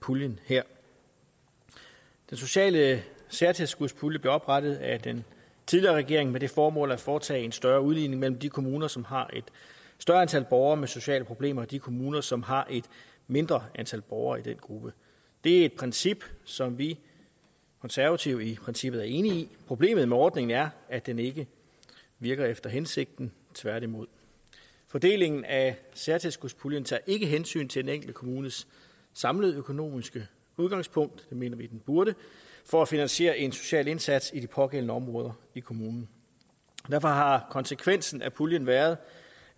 puljen her den sociale særtilskudspulje blev oprettet af den tidligere regering med det formål at foretage en større udligning mellem de kommuner som har et større antal borgere med sociale problemer og de kommuner som har et mindre antal borgere i den gruppe det er et princip som vi konservative i princippet er enige i problemet med ordningen er at den ikke virker efter hensigten tværtimod fordelingen af særtilskudspuljen tager ikke hensyn til den enkelte kommunes samlede økonomiske udgangspunkt det mener vi den burde for at finansiere en social indsats i de pågældende områder i kommunen derfor har konsekvensen af puljen været